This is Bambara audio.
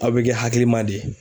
Aw bɛ kɛ hakilima de ye.